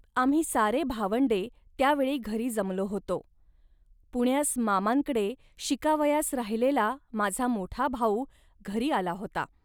आम्ही सारी भावंडे त्या वेळी घरी जमलो होतो. पुण्यास मामांकडे शिकावयास राहिलेला माझा मोठा भाऊ घरी आला होता